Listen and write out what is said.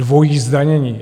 Dvojí zdanění.